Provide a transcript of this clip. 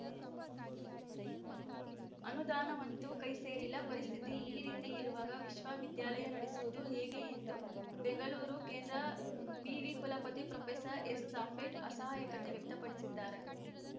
ಅನುದಾನವಂತೂ ಕೈ ಸೇರಿಲ್ಲ ಪರಿಸ್ಥಿತಿ ಈ ರೀತಿ ಇರುವಾಗ ವಿಶ್ವವಿದ್ಯಾಲಯ ನಡೆಸುವುದು ಹೇಗೆ ಎಂದು ಬೆಂಗಳೂರು ಕೇಂದ್ರ ವಿವಿ ಕುಲಪತಿ ಪ್ರೊಫೆಸರ್ ಎಸ್‌ಸಾಫೆಟ್‌ ಅಸಹಾಯಕತೆ ವ್ಯಕ್ತಪಡಿಸಿದ್ದಾರೆ